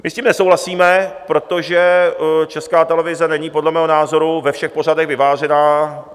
My s tím nesouhlasíme, protože Česká televize není podle mého názoru ve všech pořadech vyvážená.